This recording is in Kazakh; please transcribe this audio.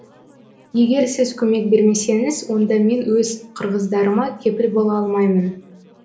егер сіз көмек бермесеңіз онда мен өз қырғыздарыма кепіл бола алмаймын